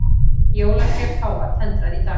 Jólatré páfa tendrað í dag